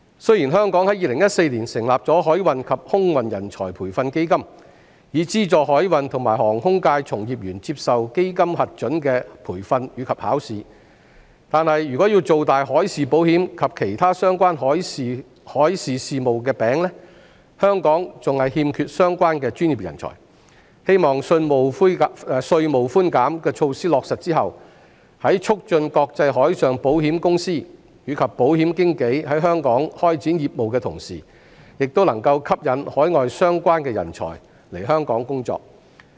雖然香港已在2014年成立海運及空運人才培訓基金，以資助海運和航空界從業員接受基金核准的培訓及考試，但如要造大海事保險及其他相關海事事務的"餅"，香港仍然欠缺相關專業人才，希望在落實稅務寬減措施後，在促進國際海上保險公司及保險經紀在香港開展業務的同時，也能夠吸引海外相關人才來港工作。